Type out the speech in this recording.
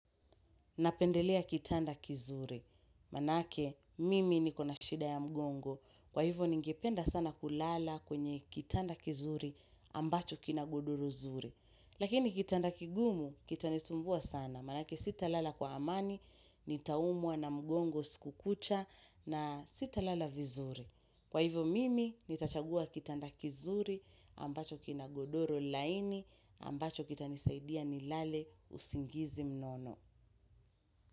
Napendelea kitanda kizuri, maanake mimi nikona shida ya mgongo, kwa hivyo ningependa sana kulala kwenye kitanda kizuri ambacho kina godoro zuri. Lakini kitanda kigumu kitanisumbua sana, maanake sitalala kwa amani, nitaumwa na mgongo siku kucha na sitalala vizuri. Kwa hivyo mimi nitachagua kitanda kizuri ambacho kina godoro laini ambacho kitanisaidia nilale usingizi mnono.